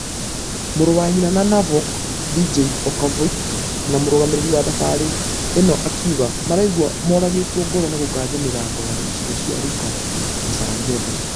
Mũrũ wa nyina na novak , djokovic na mũrũgamĩrĩri wa thabarĩ ino akĩuga maraigua mũragĩtwo ngoro nĩ gũkanja mĩthako ya icigo cia luka na sarajevo.